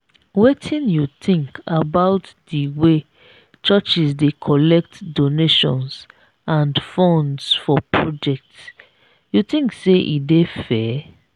wetin you think about di way churches dey collect donations and funds for projects you think say e dey fair?